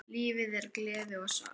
Lífið er gleði og sorg.